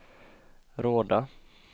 Råda